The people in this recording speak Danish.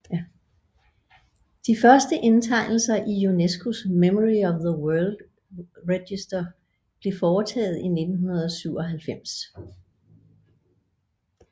De første indtegnelser i UNESCOs Memory of the World Register blev foretaget i 1997